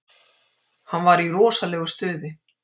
Hann var í rosalegu stuði.